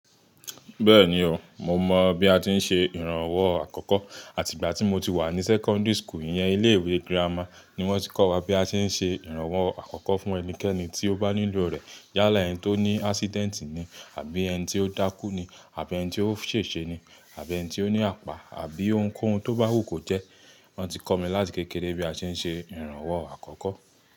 Bẹ́ẹ̀ni o, mo mọ̀ bí a ti ń ṣe ìrànwọ́ àkọ́kọ́ àti ìgbà tí mo ti wà ní sẹ́kọ́ńdìrì school. Iyẹn ilé ìwé girama ni wọ́n ti kọ́ wa bí a ṣe ń ṣe ìrànwọ́ àkọ́kọ́ fún ẹnikẹ́ni tí ó bá nílò rẹ̀. Yálà ẹni tó ní ásídẹ́ǹtì ni àbí ẹni tí ó dákú ni àbí ẹni tí ó ṣèṣe ni àbí ẹni tí ó ní àpá àbí ohunkóhun tó bá wù kó jẹ́. Wọ́n ti kọ́ mi láti kékeré bí a ṣe ń ṣe ìrànwọ́ àkọ́kọ́.